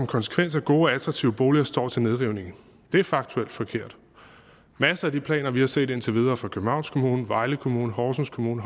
konsekvens at gode og attraktive boliger står til nedrivning det er faktuelt forkert i masser af de planer vi har set indtil videre fra københavns kommune vejle kommune horsens kommune